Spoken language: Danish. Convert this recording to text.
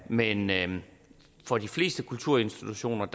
men men for de fleste kulturinstitutioners